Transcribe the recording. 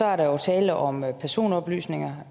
er der jo tale om personoplysninger